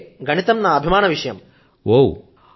అందుకే గణితం నా అభిమాన పాత్రమైనటువంటి సబ్జెక్టు